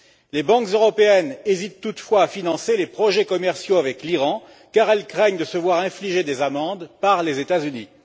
Les banques européennes hésitent toutefois à financer les projets commerciaux avec l'Iran, car elles craignent de se voir infliger des amendes par les États Unis.